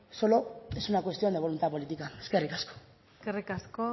solo es una cuestión de voluntad política eskerrik asko eskerrik asko